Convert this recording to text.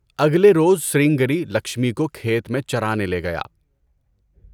اگلے روز سرنگیری لکشمی کو کھیت میں چَرانے لے گیا۔